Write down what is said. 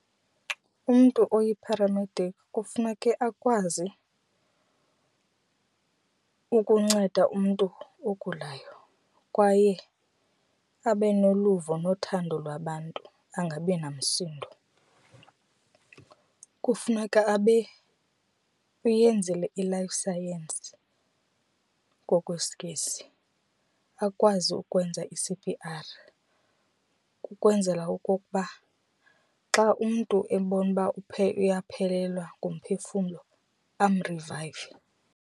Umntu oyipharamediki kufuneke akwazi ukunceda umntu ogulayo kwaye abe noluvo nothando lwabantu angabi namsindo. Kufuneka abe uyenzile iLife Science ngokwesiNgesi, akwazi ukwenza i-C_P_R kukwenzela okokuba xa umntu ebona uba uyaphelelwa ngumphefumlo amrivayive.